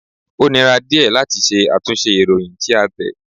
Ó nira díẹ̀ láti ṣe àtúnṣe ìròyìn tí a tẹ̀.